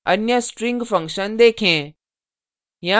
अन्य string function देखें